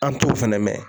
An t'o fɛnɛ mɛn